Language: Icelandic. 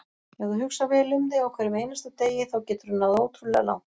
Ef þú hugsar vel um þig á hverjum einasta degi þá geturðu náð ótrúlega langt.